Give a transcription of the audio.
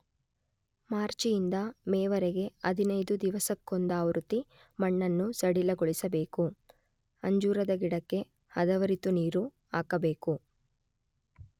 ಮಾರ್ಚಿಯಿಂದ ಮೇವರೆಗೆ ಹದಿನೈದು ದಿವಸಕ್ಕೊಂದಾವೃತ್ತಿ ಮಣ್ಣನ್ನು ಸಡಿಲಗೊಳಿಸಬೇಕು.ಅಂಜೂರದ ಗಿಡಕ್ಕೆ ಹದವರಿತು ನೀರು ಹಾಕಬೇಕು.